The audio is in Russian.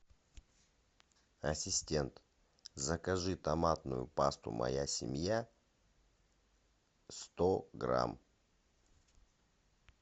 ассистент закажи томатную пасту моя семья сто грамм